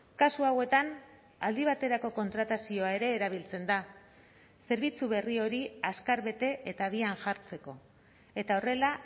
kasu hauetan aldi baterako kontratazioa ere erabiltzen da zerbitzu berri hori azkar bete eta abian jartzeko eta horrela